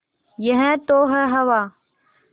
यह तो है हवा